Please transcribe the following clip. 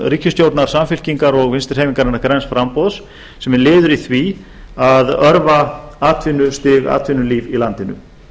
ríkisstjórnar samfylkingar og vinstri hreyfingarinnar a græns framboðs sem er liður í því að örva atvinnustig atvinnulíf í landinu